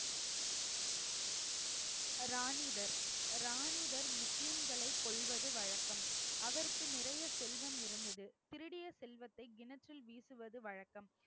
ராணிதர் ராணிதர் முஸ்லீம்களை கொல்வது வழக்கம். அவருக்கு நிறைய செல்வம் இருந்தது. திருடிய செல்வத்தை கிணற்றில் வீசுவது வழக்கம்